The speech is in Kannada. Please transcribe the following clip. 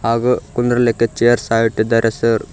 ಹಾಗೂ ಕುಂದ್ರಿಲಿಕ್ಕೆ ಚೇರ್ ಸಹ ಇಟ್ಟಿದ್ದಾರೆ ಸರ್ .